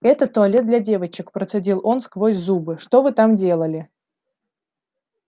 это туалет для девочек процедил он сквозь зубы что вы там делали